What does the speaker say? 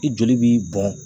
I joli bi bɔn